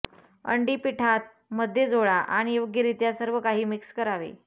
अंडी पिठात मध्ये जोडा आणि योग्यरित्या सर्वकाही मिक्स करावे